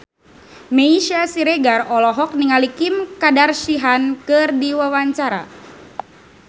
Meisya Siregar olohok ningali Kim Kardashian keur diwawancara